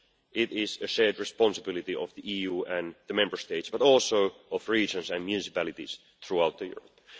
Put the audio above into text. itself. It is a shared responsibility, not only of the EU and the Member States but also of regions and municipalities throughout